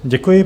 Děkuji.